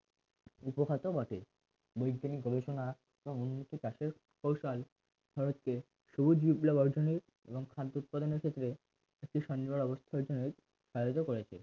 উপখাতও বটে বৈজ্ঞানিক গবেষণা এবং উন্নত চাষের কৌশল খরচ কে সবুজ বিপ্লব অর্জনের এবং খাদ্য উৎপাদনের ক্ষেত্রে একটি স্বনির্ভর অবস্থা অর্জনের আয়ত্ত করেছে